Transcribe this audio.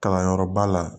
Kalanyɔrɔba la